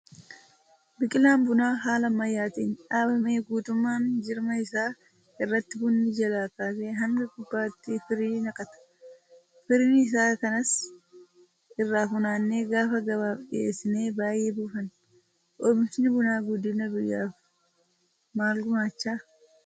Biqilaan bunaa haala ammayyaatiin dhaabame guutummaa jirma isaa irratti bunni jalaa kaasee haga gubbaatti firii naqata. Firii isaa kanas irraa funaannee gaafa gabaaf dhiyeessine baay'ee buufanna. Oomishni bunaa guddina biyyaaf maal gumaachaa?